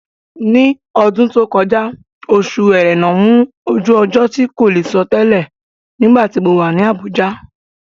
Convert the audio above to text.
Ní ọdún tó kọjá, Oṣù Ẹrẹ́nà mú ojú ọjọ́ tí kò lè sọ tẹlẹ̀ nígbàtí mo wà ní Àbújá.